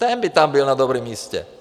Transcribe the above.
Ten by tam byl na dobrém místě.